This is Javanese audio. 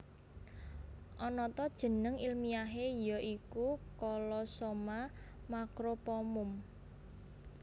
Anata jeneng ilmiahé ya iku Colossoma macropomum